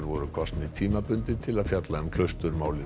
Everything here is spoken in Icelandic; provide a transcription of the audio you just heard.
voru kosnir tímabundið til að fjalla um